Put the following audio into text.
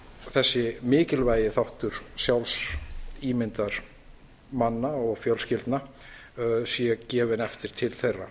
þessi mikilvægi þáttur sjálfsímyndar manna og fjölskyldna sé gefinn eftir til þeirra